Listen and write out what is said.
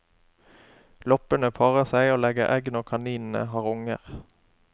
Loppene parrer seg og legger egg når kaninene har unger.